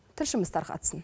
тілшіміз тарқатсын